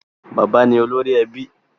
Bàbá ni olórí ẹbí